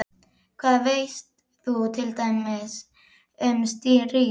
Hvað veist þú til dæmis um stríð?